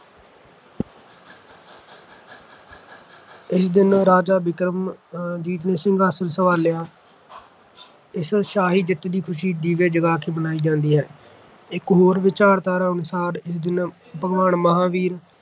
ਇਸ ਦਿਨ ਰਾਜਾ ਬਿਕਰਮਾ ਅਹ ਜੀਤ ਨੇ ਸਿੰਘਾਸਨ ਸੰਭਾਲਿਆ। ਇਸ ਸ਼ਾਹੀ ਜਿੱਤ ਦੀ ਖ਼ੁਸ਼ੀ ਦੀਵੇ ਜਗਾ ਕੇ ਮਨਾਈ ਜਾਂਦੀ ਹੈ। ਇੱਕ ਹੋਰ ਵਿਚਾਰਧਾਰਾ ਅਨੁਸਾਰ ਇਸ ਦਿਨ ਭਗਵਾਨ ਮਹਾਂਵੀਰ